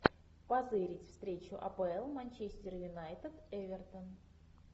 позырить встречу апл манчестер юнайтед эвертон